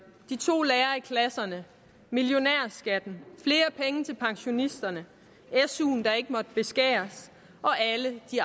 de to lærere i klasserne millionærskatten flere penge til pensionisterne suen der ikke måtte beskæres og alle de